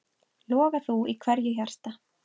Loga þú í hverju hjarta.